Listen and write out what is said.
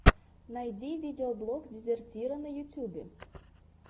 найти видеоблог дезертира на ютьюбе